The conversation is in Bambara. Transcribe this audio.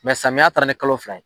samiya taara ni kalo fila ye.